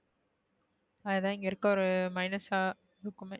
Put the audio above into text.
அது தான் இங்க இருக்கிற ஒரு minus அ